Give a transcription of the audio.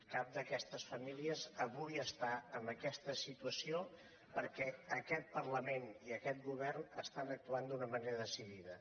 cap d’aquestes famílies avui està en aquesta situació perquè aquest parlament i aquest govern estan actuant d’una manera decidida